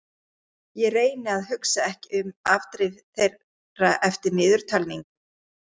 Ég reyni að hugsa ekki um afdrif þeirra eftir niðurtalningu.